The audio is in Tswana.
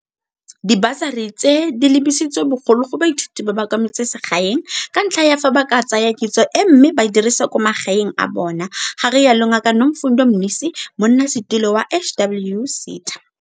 Dibasari tse di lebisitswe bogolo go baithuti ba kwa metsemagaeng ka ntlha ya fa ba ka tsaya kitso e mme ba e dirise kwa magaeng a bona, ga rialo Ngaka Nomfundo Mnisi, Monnasetilo wa HWSETA.